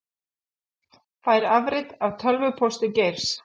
Fær afrit af tölvupósti Geirs